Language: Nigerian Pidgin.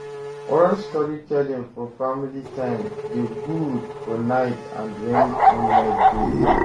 Oral storytelling for family time de good for night and when moonlight de too